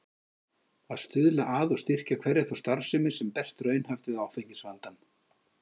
Að stuðla að og styrkja hverja þá starfsemi, sem berst raunhæft við áfengisvandann.